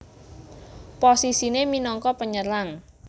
Posisiné minangka Penyerang